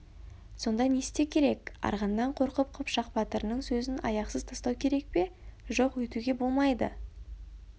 сонда не істеу керек арғыннан қорқып қыпшақ батырының сөзін аяқсыз тастау керек пе жоқ өйтуге болмайды